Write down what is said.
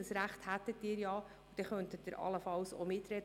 Das Recht dazu hätten Sie ja, und so könnten Sie allenfalls auch mitreden.